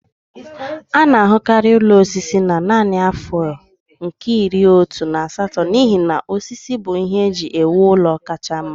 A na-ahụkarị ụlọ osisi na narị afọ nke iri otu na asatọ n'ihi na osisi bụ ihe eji ewu ụlọ kacha mma